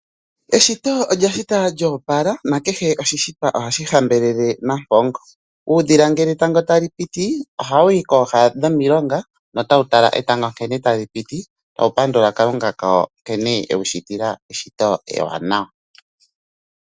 Eshito olya shita lyo opala nakehe oshishitwa ohashi hambelele Nampongo. Uudhila ngele etango tali piti ohawu yi kooha dhomilonga tawu tala etango sho tali piti tawu pandula Kalunga kawo nkene ewushitila eshito ewanawa.